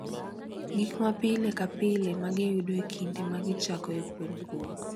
Gik ma pile ka pile ma giyudo e kinde ma gichakoe puonjruok.